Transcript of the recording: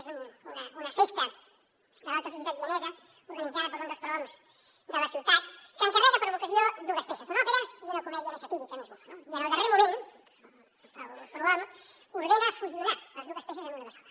és una festa de l’alta societat vienesa organitzada per un dels prohoms de la ciutat que encarrega per a l’ocasió dues peces una òpera i una comèdia més satírica més bufa no i en el darrer moment el prohom ordena fusionar les dues peces en una de sola